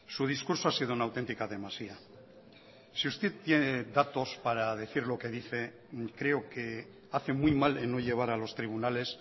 su discurso ha sido una auténtica demasía si usted tiene datos para decir lo que dice creo que hace muy mal en no llevar a los tribunales